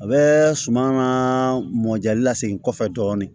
A bɛ suman ka mɔjɛli lasegin kɔfɛ dɔɔnin